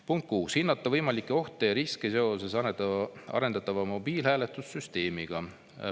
Punkt 6, hinnata võimalikke ohte ja riske seoses arendatava mobiilhääletussüsteemiga.